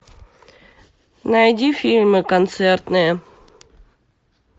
найди фильмы концертные